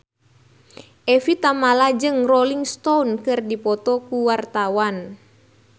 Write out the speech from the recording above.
Evie Tamala jeung Rolling Stone keur dipoto ku wartawan